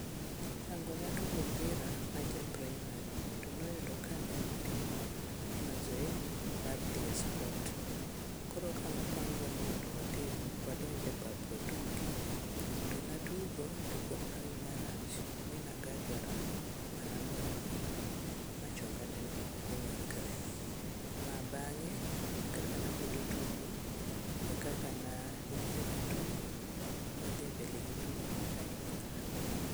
Ango na tugo opira naja praimari, to noyudo ka watimo mazoezi mar dhie sport. Koro nopangwa ni mondo watim ni mondo wadonj e par atugo natugo to kuom hawi marach ni nagajora mi nagora piny, ma chonga neno ng'ikore, ma bang'e kaka namedo tugo e kaka nang'iyo gi tugo madhi mbele gi tugo mak ahinyora.